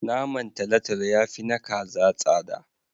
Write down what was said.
Naman talatalo ya fi na kaza tsada.